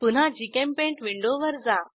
पुन्हा जीचेम्पेंट विंडोवर जा